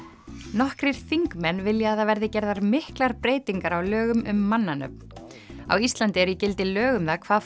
nokkrir þingmenn vilja að það verði gerðar miklar breytingar á lögum um mannanöfn á Íslandi eru í gildi lög um það hvað